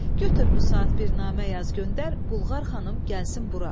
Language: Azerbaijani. Götür bu saat bir namə yaz göndər, Bulqar xanım gəlsin bura.